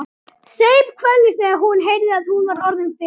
Saup hveljur þegar hún heyrði að hún var orðin fimm.